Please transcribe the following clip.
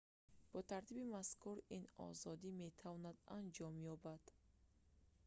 бо тартиби мазкур ин озодӣ метавонад анҷом ёбад